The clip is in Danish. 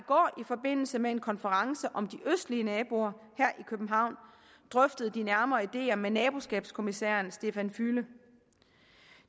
forbindelse med en konference om de østlige naboer drøftet de nærmere ideer med naboskabskommissær štefan füle